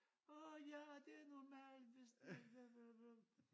Åh ja det er normalt hvis det bla bla bla